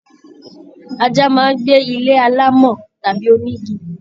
Ajá máa n gbé ilé alámọ̀ tàbí onígí.